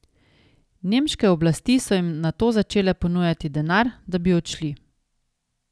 Nemške oblasti so jim nato začele ponujati denar, da bi odšli.